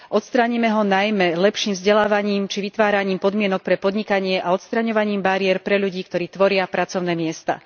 Odstránime ho najmä lepším vzdelávaním či vytváraním podmienok pre podnikanie a odstraňovaním bariér pre ľudí, ktorí tvoria pracovné miesta.